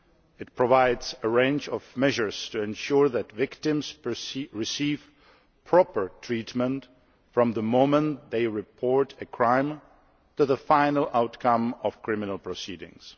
It provides a range of measures to ensure that victims receive proper treatment from the moment they report a crime to the final outcome of criminal proceedings.